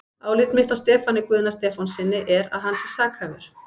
Álit mitt á Stefáni Guðna Stefánssyni er, að hann sé sakhæfur.